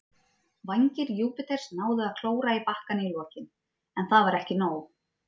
Vængir Júpiters náðu að klóra í bakkann í lokin, en það var ekki nóg.